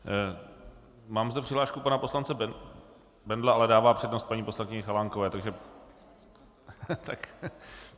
Mám zde přihlášku pana poslance Bendla, ale dává přednost paní poslankyni Chalánkové, takže...